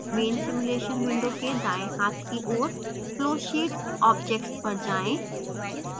main simulation window के दायें हाथ की ओर flowsheet objects पर जाएँ